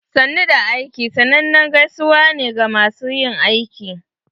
"Sannu da aiki" sannanen gaisuwa ne ga masu yin aiki.